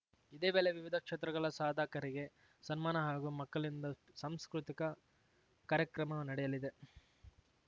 ಇದೇ ವೇಳೆ ವಿವಿಧ ಕ್ಷೇತ್ರಗಳ ಸಾಧಕರಿಗೆ ಸನ್ಮಾನ ಹಾಗೂ ಮಕ್ಕಳಿಂದ ಸಾಂಸ್ಕೃತಿಕ ಕಾರ್ಯಕ್ರಮ ನಡೆಯಲಿದೆ